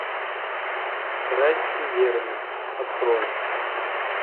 страсть и верность открой